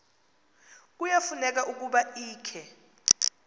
kuyafuneka ukuba ikhe